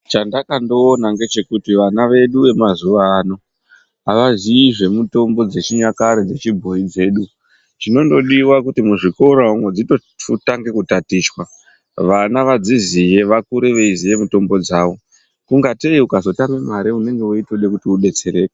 Chandakandoona ngechekuti vana vedu vemazuwano avaziyi zvemitombo dzechinyakare dzechi bhoyi dzedu, zvinondodiwa kuti muzvikora umwu dzitochuta ngekutatichwa vana vadziziye vakure veiziye mitombo dzavo ungatei ukazotame mare unenge weitode kuti udetsereke.